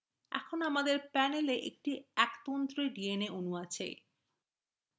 dna আমাদের panel a একটি একতন্ত্রী dna অণু আছে